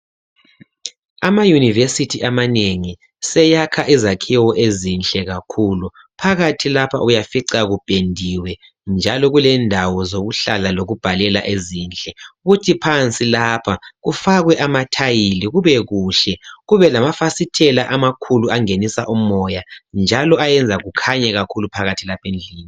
Ama yunivesithi amanengi seyakha izakhiwo ezinhle kakhulu phakathi lapha uyafica kupendiwe njalo kulendawo zokuhlala lokubhalela ezinhle kuthi phansi lapha kufakwe amathayili kube kuhle kube lamafasitela amakhulu angenisa umoya njalo ayenza kukhanye kakhulu phakathi lapha endlini.